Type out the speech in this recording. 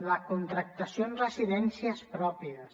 la contractació en residències pròpies